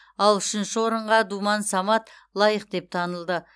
ал үшінші орынға думан самат лайық деп танылды